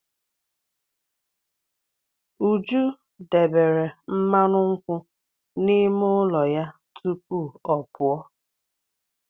Uju debere mmanụ nkwụ n'ime ụlọ ya tupu ọ pụọ.